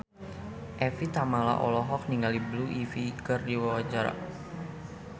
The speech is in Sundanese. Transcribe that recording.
Evie Tamala olohok ningali Blue Ivy keur diwawancara